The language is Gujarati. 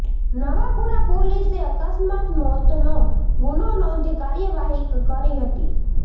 નવાપુરા પોલીસે અકસ્માત મોતનો ગુનો નોંધી કાર્યવાહી કરી હતી